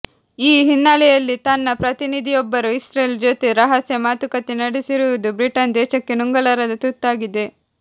ಈ ಹಿನ್ನೆಲೆಯಲ್ಲಿ ತನ್ನ ಪ್ರತಿನಿಧಿಯೊಬ್ಬರು ಇಸ್ರೇಲ್ ಜೊತೆ ರಹಸ್ಯ ಮಾತುಕತೆ ನಡೆಸಿರುವುದು ಬ್ರಿಟನ್ ದೇಶಕ್ಕೆ ನುಂಗಲಾರದ ತುತ್ತಾಗಿದೆ